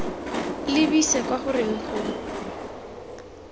lebise kwa go reng go